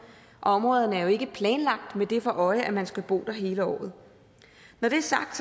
og områderne er jo ikke planlagt med det for øje at man skal bo der hele året når det er sagt